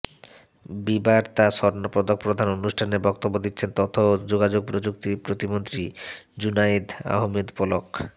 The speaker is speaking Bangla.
বিবার্তা স্বর্ণপদক প্রদান অনুষ্ঠানে বক্তব্য দিচ্ছেন তথ্য ও যোগাযোগ প্রযুক্তি প্রতিমন্ত্রী জুনায়েদ আহমেদ পলক